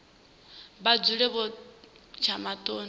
vha dzule vho tsha maṱoni